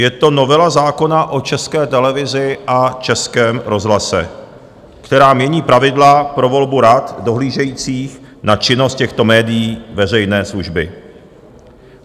Je to novela zákona o České televizi a Českém rozhlase, která mění pravidla pro volbu rad dohlížejících na činnost těchto médií veřejné služby.